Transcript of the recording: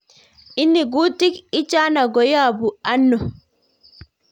Ini, kutik ichano koyapung anoo?